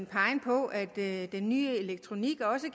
peget på at den nye elektronik også